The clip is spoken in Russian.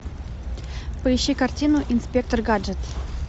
поищи картину инспектор гаджет